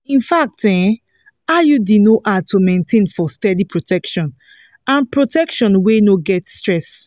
infact um iud no hard to maintain for steady protection and protection wey no get stress.